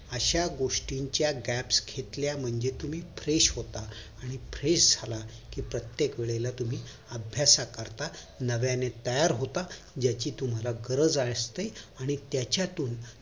अश्या गोष्टीच्या gap घेतल्या म्हणजे तुम्ही fresh होता आणि fresh झाला कि प्रत्येक वेळेला तुम्ही अभ्यासा करता नव्यानं तयार होता ज्याची तुम्हाला गरज असते आणि त्याच्या तुन